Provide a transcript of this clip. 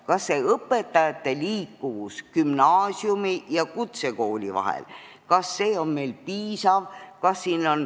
Kas õpetajate liikuvus gümnaasiumi ja kutsekooli vahel on meil piisav?